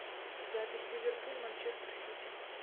запись ливерпуль манчестер сити